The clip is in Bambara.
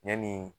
Yanni